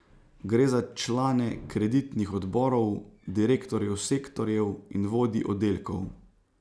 Gre za člane kreditnih odborov, direktorjev sektorjev in vodij oddelkov.